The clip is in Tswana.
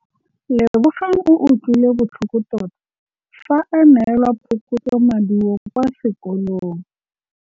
Lebogang o utlwile botlhoko tota fa a neelwa phokotsômaduô kwa sekolong.